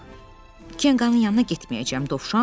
Yox, Kenqanın yanına getməyəcəm.